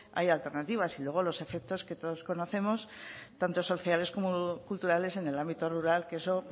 haya alternativas y luego los efectos que todos conocemos tanto sociales como culturales en el ámbito rural que eso